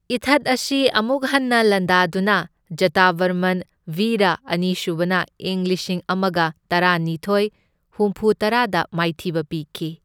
ꯏꯊꯠ ꯑꯁꯤ ꯑꯃꯨꯛ ꯍꯟꯅ ꯂꯥꯟꯗꯥꯗꯨꯅ ꯖꯇꯚꯔꯃꯟ ꯚꯤꯔꯥ ꯑꯅꯤꯁꯨꯕꯅ ꯏꯪ ꯂꯤꯁꯤꯡ ꯑꯃꯒ ꯇꯔꯥꯅꯤꯊꯣꯢ ꯍꯨꯝꯐꯨꯇꯔꯥꯗ ꯃꯥꯏꯊꯤꯕ ꯄꯤꯈꯤ꯫